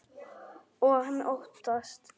Og hann óttast.